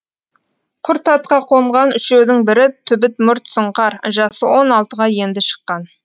құр атқа қонған үшеудің бірі түбіт мұрт сұңқар жасы он алтыға енді шыққан